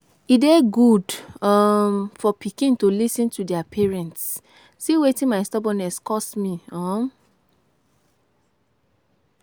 E dey good um for pikin to lis ten to their parents, see wetin my stubbornness cause me um